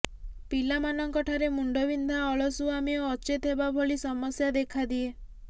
ପିଲାମାନଙ୍କ ଠାରେ ମୁଣ୍ଡବିନ୍ଧା ଅଳସୁଆମି ଓ ଅଚେତ ହେବା ଭଳି ସମସ୍ୟା ଦେଖାଦିଏ